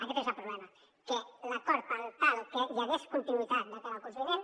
aquest és el problema que l’acord per tal que hi hagués continuïtat de cara al curs vinent